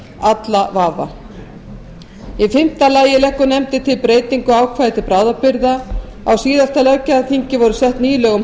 alla vafa í fimmta lagi leggur nefndin til breytingu á ákvæði til bráðabirgða á síðasta löggjafarþingi voru sett ný lög um